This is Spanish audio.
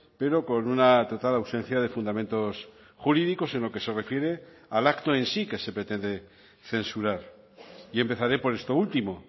pero con una total ausencia de fundamentos jurídicos en lo que se refiere al acto en sí que se pretende censurar y empezaré por esto último